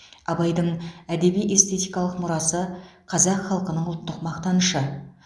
абайдың әдеби эстетикалық мұрасы қазақ халқының ұлттық мақтанышы